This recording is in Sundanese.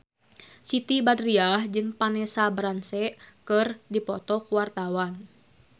Siti Badriah jeung Vanessa Branch keur dipoto ku wartawan